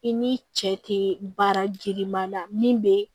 I ni cɛ te baara girinma la min be